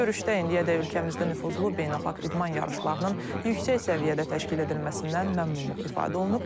Görüşdə indiyədək ölkəmizdə nüfuzlu beynəlxalq idman yarışlarının yüksək səviyyədə təşkil edilməsindən məmnunluq ifadə olunub.